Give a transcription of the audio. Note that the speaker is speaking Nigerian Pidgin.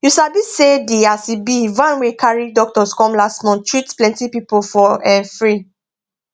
you sabi say di as e be van wey carry doctors come last month treat plenty people for um free